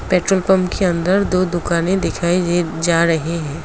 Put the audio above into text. Petrol pump के अंदर दो दुकान दिखाई जा रही हैं।